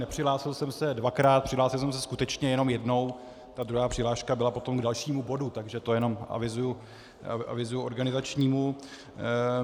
Nepřihlásil jsem se dvakrát, přihlásil jsem se skutečně jenom jednou, ta druhá přihláška byla potom k dalšímu bodu, takže to jenom avizuji organizačnímu.